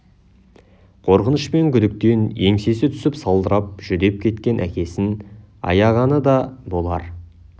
қорқыныш пен күдіктен еңсесі түсіп салдырап жүдеп кеткен әкесін аяғаны да болар